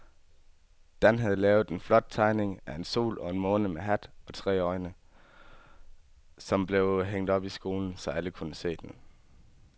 Dan havde lavet en flot tegning af en sol og en måne med hat og tre øjne, som blev hængt op i skolen, så alle kunne se den.